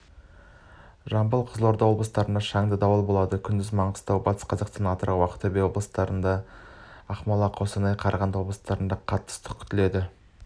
жамбыл қызылорда облыстарында шаңды дауыл болады күндіз маңғыстау батыс қазақстан атырау ақтөбе облыстарында ақмола қостанай қарағанды облыстарында қатты ыстық күтіледі